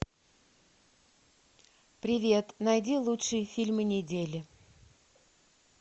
привет найди лучшие фильмы недели